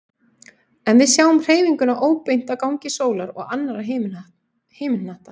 En við sjáum hreyfinguna óbeint á gangi sólar og annarra himinhnatta.